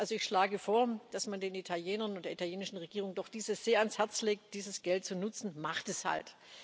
Also ich schlage vor, dass man den Italienern, der italienischen Regierung doch sehr ans Herz legt, dieses Geld zu nutzen Macht es halt!